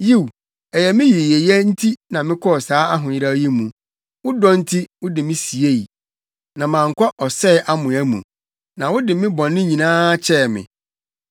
Yiw, ɛyɛ me yiyeyɛ nti na mekɔɔ saa ahoyeraw yi mu. Wo dɔ nti, wode me siei na mankɔ ɔsɛe amoa mu; na wode me bɔne nyinaa akyɛ me.